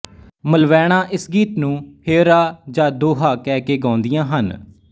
ਮਲਵੈਣਾਂ ਇਸ ਗੀਤ ਨੂੰ ਹੇਅਰਾ ਜਾਂ ਦੋਹਾ ਕਹਿ ਕੇ ਗਾਉਂਦੀਆਂ ਹਨ